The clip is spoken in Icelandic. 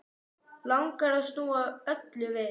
Langar að snúa öllu við.